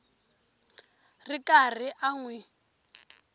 ri karhi a n wi